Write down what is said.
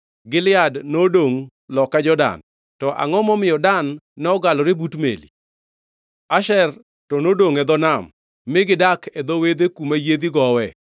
Gilead nodongʼ loka Jordan. To angʼo momiyo Dan nogalore but meli? Asher to nodongʼ e dho nam mi gidak e dho wedhe kuma yiedhi gowe.